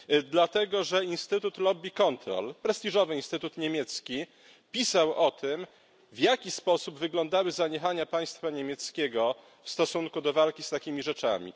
Dlatego, że instytut Lobby Control, prestiżowy instytut niemiecki, pisał o tym, w jaki sposób wyglądały zaniechania państwa niemieckiego w stosunku do walki z takimi rzeczami.